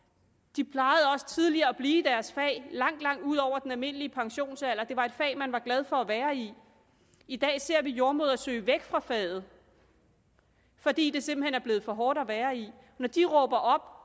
de plejede også tidligere at blive i deres fag langt langt ud over den almindelige pensionsalder det var et fag man var glad for at være i i dag ser vi jordemødre søge væk fra faget fordi det simpelt hen er blevet for hårdt at være i når de råber